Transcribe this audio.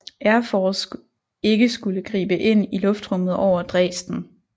Air Force ikke skulle gribe ind i luftrummet over Dresden